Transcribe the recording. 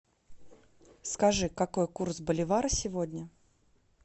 скажи какой курс боливара сегодня